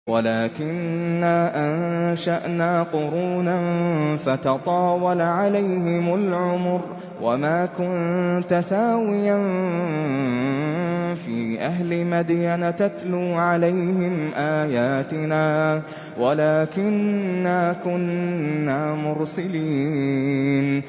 وَلَٰكِنَّا أَنشَأْنَا قُرُونًا فَتَطَاوَلَ عَلَيْهِمُ الْعُمُرُ ۚ وَمَا كُنتَ ثَاوِيًا فِي أَهْلِ مَدْيَنَ تَتْلُو عَلَيْهِمْ آيَاتِنَا وَلَٰكِنَّا كُنَّا مُرْسِلِينَ